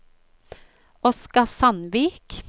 Oscar Sandvik